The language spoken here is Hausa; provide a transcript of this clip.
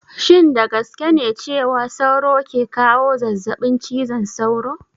Shin da gaske ne cewa sauro ke kawo zazzabin cizon sauro?